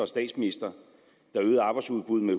statsminister der øgede arbejdsudbuddet